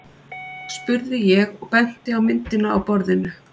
spurði ég og benti á myndina á borðinu.